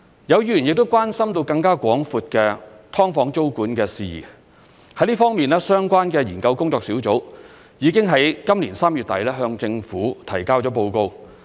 有議員亦關心更廣闊的"劏房"租務管制事宜，在這方面，相關的研究工作小組已在今年3月底向政府提交報告。